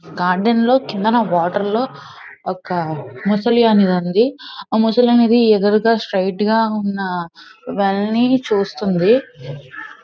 Garden లో క్రిందన water లో ఒక మొసలి అనేది ఉంది ఆ మొసలి అనేది ఎదురుగా స్ట్రెయిట్ ఉన్న వాలని చూస్తోంది.